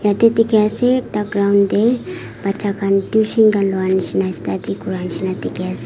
ite dikhi ase ekta ground deh bacha khan bishi tuition khan loinishina study kuriwa nishina dikhi ase.